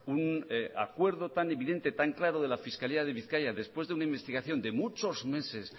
un acuerdo tan evidente tan claro de la fiscalía de bizkaia después de una investigación de muchos meses